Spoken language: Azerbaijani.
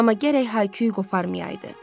Amma gərək hay-küy qoparmayaydı.